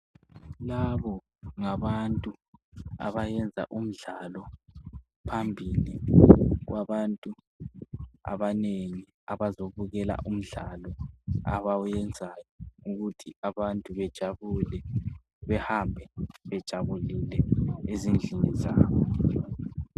Labo ngabantu abayenza umdlalo phambili kwabantu abanengi abazobukela umdlalo abawenzayo ukuthi abantu bejabule behambe ezindlini zabo.